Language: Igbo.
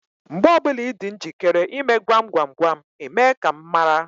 Mgbe ọbụla Ị dị njikere ịme gwam gwam gwam, Ị mee ka m mara.